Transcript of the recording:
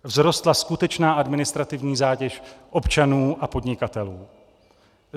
Vzrostla skutečná administrativní zátěž občanů a podnikatelů.